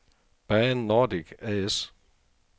Baan Nordic A/S